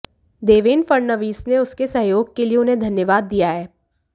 देवेंद्र फडणवीस ने उनके सहयोग के लिए उन्हें धन्यवाद दिया है